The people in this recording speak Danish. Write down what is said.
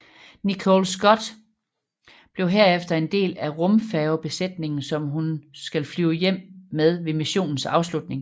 Nicole Stott blev herefter en del af rumfærgebesætningen som hun skal flyve hjem med ved missionens afslutning